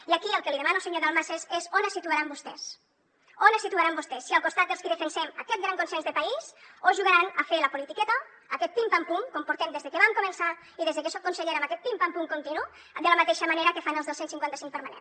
i aquí el que li demano senyor dalmases és on es situaran vostès on es situaran vostès si al costat dels qui defensem aquest gran consens de país o jugaran a fer la politiqueta aquest pim pam pum com portem des que vam començar i des que soc consellera amb aquest pim pam pum continu de la mateixa manera que fan els del cent i cinquanta cinc permanent